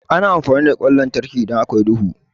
Ana amfani da ƙwan lantarki idan akwai duhu.